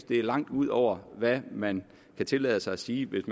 det er langt ud over hvad man kan tillade sig at sige hvis